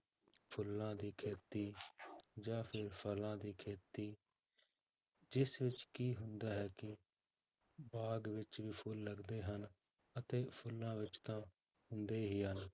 ਫੁੱਲਾਂ ਦੀ ਖੇਤੀ ਜਾਂ ਫਿਰ ਫਲਾਂ ਦੀ ਖੇਤੀ ਜਿਸ ਵਿੱਚ ਕੀ ਹੁੰਦਾ ਹੈ ਕਿ ਬਾਗ਼ ਵਿੱਚ ਵੀ ਫੁੱਲ ਲੱਗਦੇ ਹਨ ਅਤੇ ਫੁੱਲਾਂ ਵਿੱਚ ਤਾਂ ਹੁੰਦੇ ਹੀ ਹਨ